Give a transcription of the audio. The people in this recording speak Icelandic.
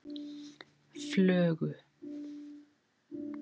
Flögu